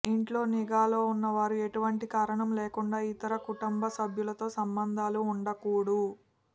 ఇంట్లో నిఘాలో ఉన్నవారు ఎటువంటి కారణం లేకుండా ఇతర కుటుంబ సభ్యులతో సంబంధాలు ఉండకూడు